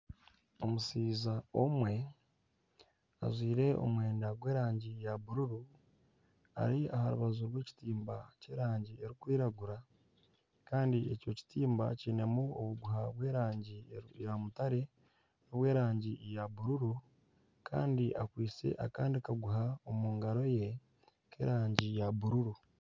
Omushaija omwe ajwaire omwenda gwa erangi ya bururu ari aha rubaju rwa ekitimba Kya erangi erikwiragura Kandi ekyo kitimba kinemu obuguha bwa erangi ya mutare na obwa erangi ya bururu kandi akwaitse akandi kaguha omu ngaro ye k'erangi ya bururu.